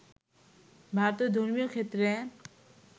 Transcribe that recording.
ভারতের ধর্মীয় ক্ষেত্রে